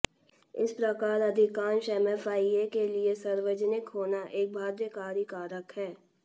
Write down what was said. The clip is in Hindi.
इस प्रकार अधिकांश एमएफआई के लिए सार्वजनिक होना एक बाध्यकारी कारक है